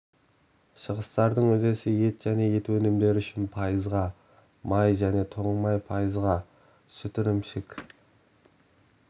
шығыстардың үлесі ет және ет өнімдері үшін пайызға май және тоң май пайызға сүт ірімшік